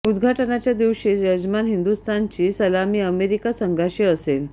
उद्घाटनाच्या दिवशीच यजमान हिंदुस्थानची सलामी अमेरिका संघाशी असेल